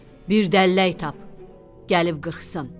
Bir dəllək tap, gəlib qırxsın.